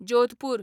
Jodhpur